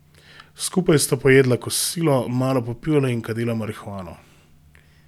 Skupaj sta pojedla kosilo, malo popivala in kadila marihuano.